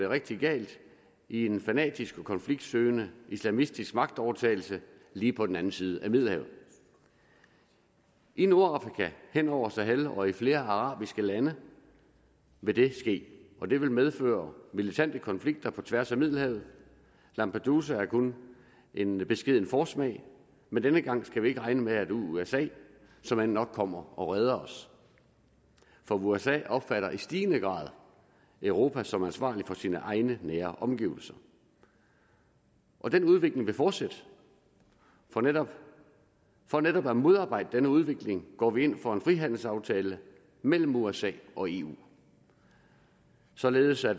rigtig galt af en fanatisk og konfliktsøgende islamistisk magtovertagelse lige på den anden side af middelhavet i nordafrika hen over sahel og i flere arabiske lande vil det ske og det vil medføre militante konflikter tværs over middelhavet lampedusa er kun en beskeden forsmag men denne gang skal vi ikke regne med at usa såmænd nok kommer og redder os for usa opfatter i stigende grad europa som ansvarlig for sine egne nære omgivelser og den udvikling vil fortsætte for netop for netop at modarbejde denne udvikling går vi ind for en frihandelsaftale mellem usa og eu således at